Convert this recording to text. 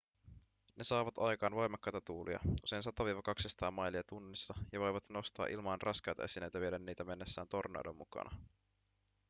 ne saavat aikaan voimakkaita tuulia usein 100–200 mailia tunnissa ja voivat nostaa ilmaan raskaita esineitä vieden niitä mennessään tornadon mukana